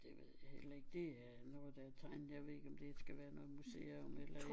Det ved jeg heller ikke det er noget der er tegnet jeg ved ikke om det skal være noget museum eller